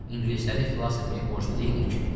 İngilisləri xilas etməyə borclu deyilik ki.